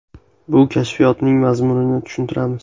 Bu kashfiyotning mazmunini tushuntiramiz.